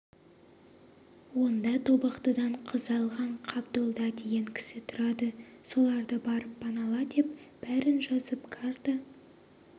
онда тобықтыдан қыз алған қабдолда деген кісі тұрады соларды барып панала деп бәрін жазып карта